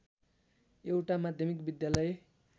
एउटा माध्यमिक विद्यालय